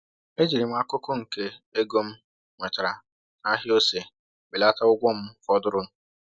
Ejiri m akụkụ nke ego m nwetara n’ahịa ose belata ụgwọ m fọdụrụ.